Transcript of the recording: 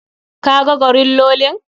Ka ga gorillolin?